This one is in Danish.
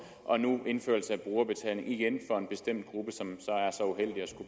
og nu indførelse af brugerbetaling igen for en bestemt gruppe som